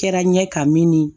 Kɛra n ɲɛ ka min ye